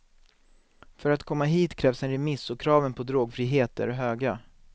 För att komma hit krävs en remiss och kraven på drogfrihet är höga.